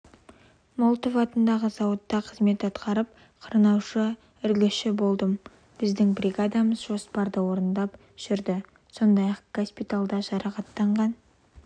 молотов атындағы зауытта қызмет атқарып қырнаушы-үлгіші болдым біздің бригадамыз жоспарды орындап жүрді сондай-ақ госпитальда жарақаттанған